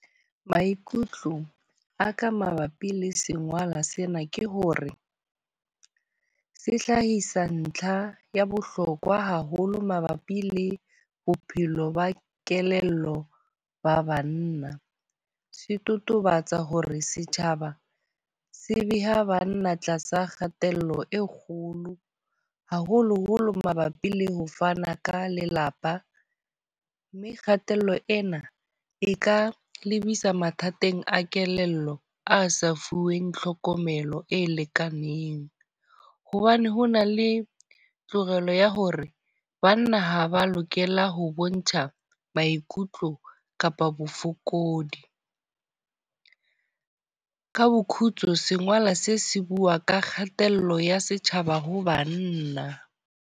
Maikutlo a ka mabapi le sengolwa sena ke hore se hlahisa ntlha ya bohlokwa haholo mabapi le bophelo ba kelello ba banna. Se totobatsa hore setjhaba sebeha banna tlasa kgatello e kgolo. Haholo-holo mabapi le ho fana ka lelapa. Mme kgatello ena e ka lebisa mathateng a kelello a sa fuweng tlhokomelo e lekaneng. Hobane ho na le tokelo ya hore banna ha ba lokela ho bontsha maikutlo kapa bofokodi. Ka bo khutso sengola se se bua ka kgatello ya setjhaba ha banna.